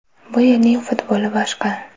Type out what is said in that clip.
Bu yerning futboli boshqa.